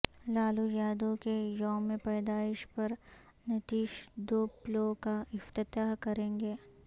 لالویادو کے یوم پیدائش پر نتیش دو پلوں کا افتتاح کریں گے